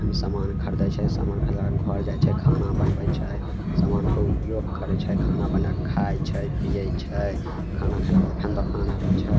हम समान छै समान खरीद के घर जाय छै खाना बानवे छै समान के उपयेग करे छै खाय छै पिए छै खाना खेला के बाद फेन दोकान आवे छे।